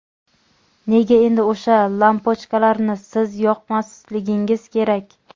Nega endi o‘sha lampochkalarni siz yoqmasligingiz kerak?.